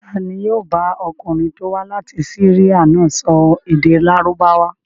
Ta ni yóò bá ọkùnrin tó wá láti Syria náà sọ èdè Lárúbáwá?